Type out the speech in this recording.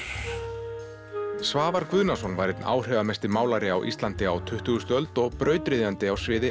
Svavar Guðnason var einn áhrifamesti málari á Íslandi á tuttugustu öld og brautryðjandi á sviði